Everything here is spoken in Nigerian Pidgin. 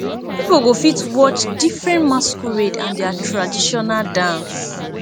pipo go fit watch diffrent masquerade and dia traditional dance